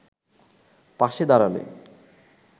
পাশে দাঁড়ালে